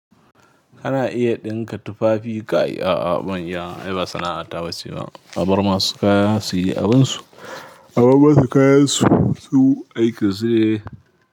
Kana iya ɗinka tufafi kai a'a ban iya wa ai ba sana'a taba ce ba. A bar masu kaya su yi abinsu. A bar masu kayan su su aika su.